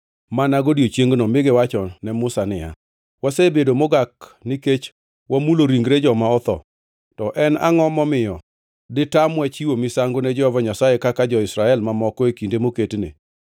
mi giwachone Musa niya, “Wasebedo mogak nikech wamulo ringre joma otho, to en angʼo momiyo ditamwa chiwo misango ne Jehova Nyasaye kaka jo-Israel mamoko e kinde moketne?”